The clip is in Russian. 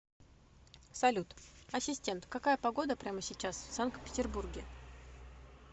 салют ассистент какая погода прямо сейчас в санкт петербурге